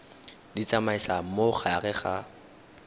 di tsamaisa mo gare ga